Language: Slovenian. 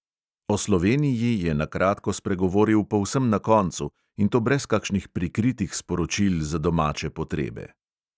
O sloveniji je na kratko spregovoril povsem na koncu, in to brez kakšnih prikritih sporočil za domače potrebe.